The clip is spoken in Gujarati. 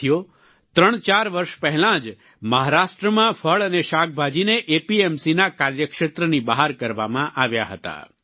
સાથીઓ ત્રણચાર વર્ષ પહેલાં જ મહારાષ્ટ્રમાં ફળ અને શાકભાજીને એપીએમસીના કાર્યક્ષેત્રની બહાર કરવામાં આવ્યા હતા